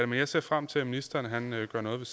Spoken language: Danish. men jeg ser frem til at ministeren gør noget